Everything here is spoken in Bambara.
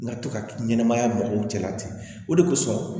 N ka to ka ɲɛnɛmaya mɔgɔw cɛla ten o de kosɔn